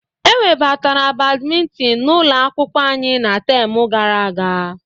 Ewebatara Badminton n'ụlọ akwụkwọ anyị na temu gara aga.